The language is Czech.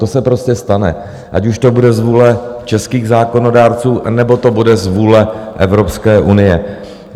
To se prostě stane, ať už to bude z vůle českých zákonodárců, nebo to bude z vůle Evropské unie.